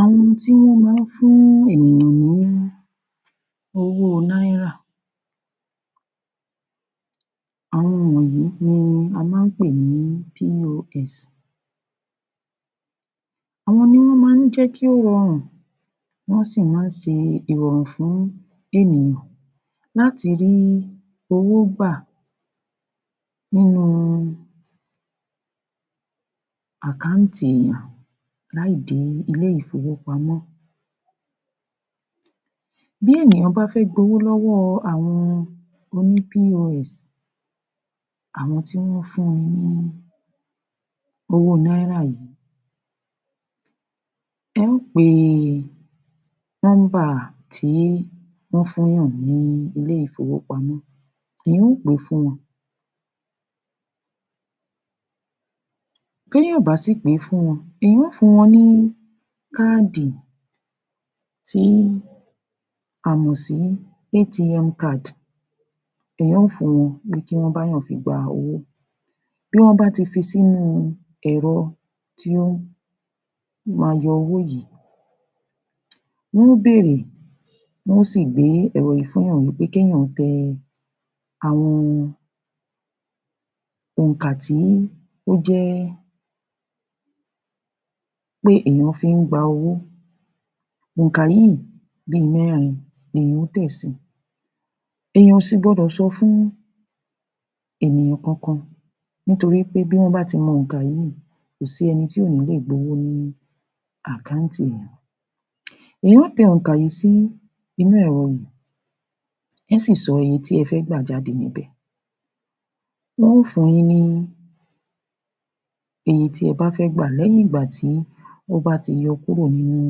Àwọn ti wọ́n má ń fún ènìyàn ní owó náírà, àwọn wọnyìí ni a má ń pè ní POS. Àwọn ni wọ́n má ń jẹ́ kí ó rọrùn wọ́n sì má ń ṣe ìrọ̀rùn fún ènìyàn láti rí owó gbà nínu àkáǹtì èèyàn láì dé ilé-ìfowópamọ́. Bí ènìyàn bá fẹ́ gba owó lọ́wọ́ àwọn oní POS, àwọn tí wọ́n fún wọn ní owó náírà yìí wọ́n yòó pe nọ́mbà tí wọ́n fún ènìyàn ní ilé-ìfowópamọ́ wọ́n yòó pè fún wọn tí ènìyàn ò bá sì pe fún wọn, èèyàn ó fún wọ́n ní káàdì tí amọ̀ sí ATM Card ni wọn ó fún wọn ní kí wọ́n bá èèyàn fi gba owó. Bí wọ́n bá ti fi sí inú ẹ̀rọ, tí ó ma yọ owó yìí, wọ́n ó bèèrè wọ́n ó sì gbé ẹ̀rọ yìí fún èèyàn wí pé kí èèyàn tẹ àwọn ònkà tí ó jẹ́ pé èèyàn fí ń gba owó ònkà yìí, bí i mẹ́rin ni èèyàn á tẹ̀ si. Èèyàn ò sì gbọdọ̀ sọ fún ènìyàn kan kan nítorí wí pé bí wọ́n bá ti mọ ònkà yìí kò sí ẹni tí ò ní le gbowó ní àkáǹtì èèyàn. Wọ́n ó tẹ ònkà yìí sí inú ẹ̀rọ yìí, wọ́n ó sì sọ iye ti ẹ fẹ́ gbà jáde níbẹ̀. Wọ́n ó fun yín ní iye tí ẹ bá fẹ́ gbà lẹ́yìn ìgbà tí wọ́n bá ti yọ kúrò nínu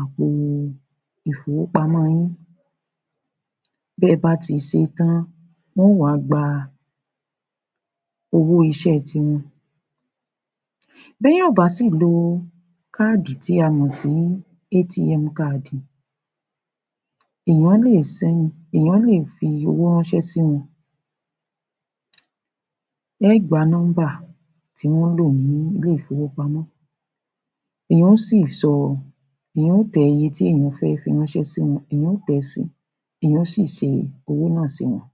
àpo ìfowópamọ́ yin bí ó bá ti ṣé tán wọ́n ò wá gba owó-iṣẹ́ ti wọn. Bí èèyàn ò bá sì lo káàdì tí a mọ̀ sí ATM káàdì, èèyàn lè sin, èèyàn lè fi owó ránṣẹ́ sí wọn. Ẹ́gba nọ́mbà tí wọ́n ń lò ní ilé-ìfówopamọ́ wọn ó sì sọ, wọn ó tẹ iye tí èèyàn fẹ́ fi ránṣẹ́ sí wọn, èèyàn ó tẹ̀ẹ́ si, èèyàn ó sì ṣe owó náà sí wọn.